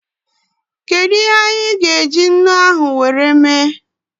Kedụ ihe anyị gá eji ńnú ahụ wee mee?